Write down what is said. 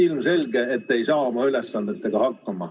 Ilmselgelt te ei saa oma ülesannetega hakkama.